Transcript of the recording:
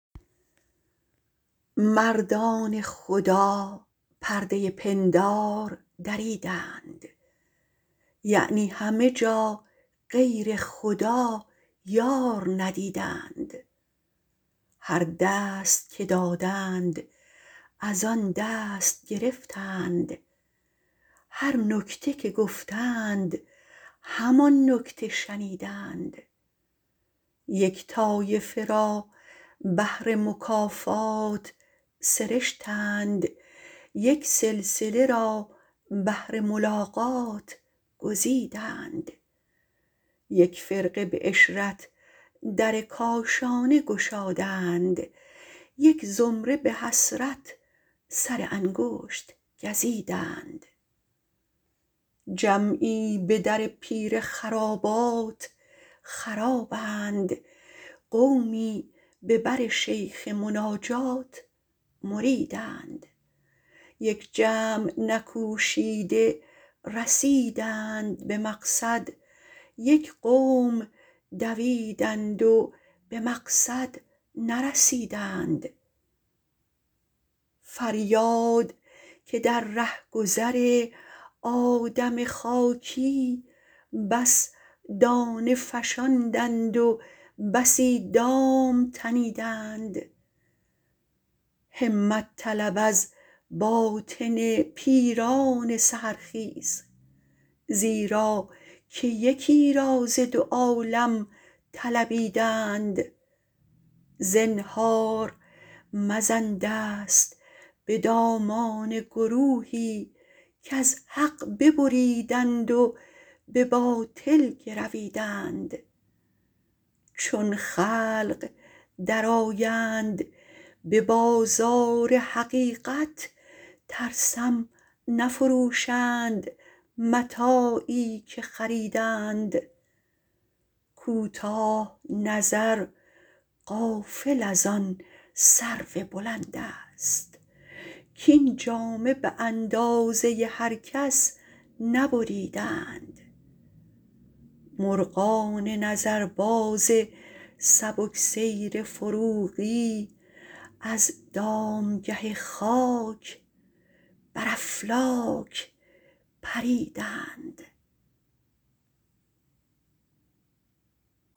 مردان خدا پرده پندار دریدند یعنی همه جا غیر خدا یار ندیدند هر دست که دادند از آن دست گرفتند هر نکته که گفتند همان نکته شنیدند یک طایفه را بهر مکافات سرشتند یک سلسله را بهر ملاقات گزیدند یک فرقه به عشرت در کاشانه گشادند یک زمره به حسرت سر انگشت گزیدند جمعی به در پیر خرابات خرابند قومی به بر شیخ مناجات مریدند یک جمع نکوشیده به مقصود رسیدند یک قوم دویدند و به مقصد نرسیدند فریاد که در رهگذر آدم خاکی بس دانه فشاندند و بسی دام تنیدند همت طلب از باطن پیران سحرخیز زیرا که یکی را ز دو عالم طلبیدند زنهار مزن دست به دامان گروهی کز حق ببریدند و به باطل گرویدند چون خلق درآیند به بازار حقیقت ترسم نفروشند متاعی که خریدند کوتاه نظر غافل از آن سرو بلند است کاین جامه به اندازه هر کس نبریدند مرغان نظرباز سبک سیر فروغی از دامگه خاک بر افلاک پریدند